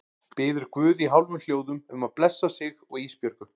Biður guð í hálfum hljóðum um að blessa sig og Ísbjörgu.